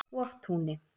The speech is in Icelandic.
Hoftúni